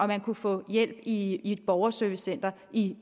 man kunne få hjælp i et borgerservicecenter i